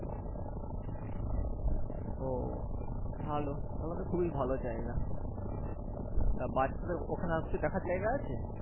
ও ভালো তাহলে তো খুবই ভালো জায়গা তা বাচ্চাদের ওখানে আর কিছু দেখার জায়গা আছে